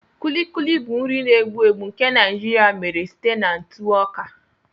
Kulikuli bụ nri na-egbu egbu nke Naijiria mere site na ntụ ọka.